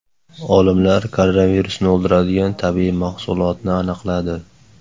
Olimlar koronavirusni o‘ldiradigan tabiiy mahsulotni aniqladi.